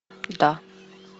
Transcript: да